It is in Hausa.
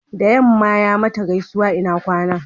da yamma ya mata gaisuwa ina kwana